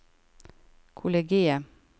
kollegiet